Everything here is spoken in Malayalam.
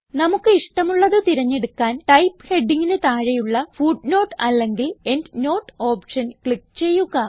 നമുക്ക് ഇഷ്ടമുള്ളത് തിരഞ്ഞെടുക്കാൻ ടൈപ്പ് ഹെഡിംഗിന് താഴെയുള്ള ഫുട്നോട്ട് അല്ലെങ്കിൽ എൻഡ്നോട്ട് ഓപ്ഷൻ ക്ലിക്ക് ചെയ്യുക